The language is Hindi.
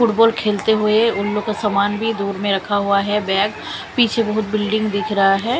फुटबॉल खेलते हुए उनलोग का सामान भी दूर में रखा हुआ है बैग पीछे बहुत बिल्डिंग दिख रहा है।